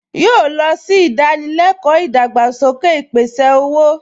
Yóò lọ sí ìdánilẹ́kọ̀ọ́ ìdàgbàsókè ìpèsè-owó